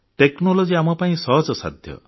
technology ଆମପାଇଁ ସହଜସାଧ୍ୟ